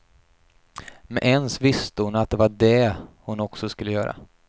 Med ens visste hon att det var det hon också skulle göra.